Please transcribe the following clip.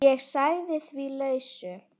Ég sagði því lausu.